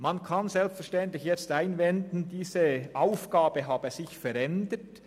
Man kann selbstverständlich einwenden, diese Aufgabe habe sich verändert.